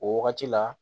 O wagati la